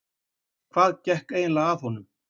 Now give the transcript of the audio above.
Hvað gekk eiginlega að honum?